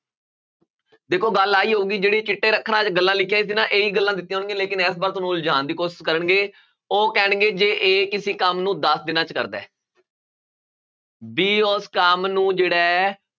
ਦੇਖੋ ਗੱਲ ਆਹੀ ਹੋਊਗੀ ਜਿਹੜੇ ਚਿੱਟੇ ਅੱਖਰਾਂ ਵਿੱਚ ਗੱਲਾਂ ਲਿਖੀਆਂ ਇਹੀ ਗੱਲਾਂ ਦਿੱਤੀਆਂ ਹੋਣਗੀਆਂ ਲੇਕਿੰਨ ਤੁਹਾਨੂੰ ਉਲਝਾਉਣ ਦੀ ਕੋਸ਼ਿਸ਼ ਕਰਨਗੇ ਉਹ ਕਹਿਣਗੇ ਜੇ a ਕਿਸੇ ਕੰਮ ਨੂੰ ਦਸ ਦਿਨਾਂ ਵਿੱਚ ਕਰਦਾ ਹੈ b ਉਸ ਕੰਮ ਨੂੰ ਜਿਹੜਾ ਹੈ